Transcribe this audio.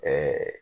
Ɛɛ